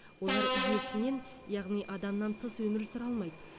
олар иесінен яғни адамнан тыс өмір сүре алмайды